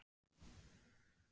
Nei, ég er hér sem skemmtikraftur